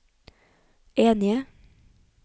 enige